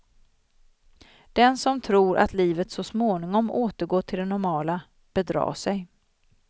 Den som tror att livet så småningom återgår till det normala bedrar sig.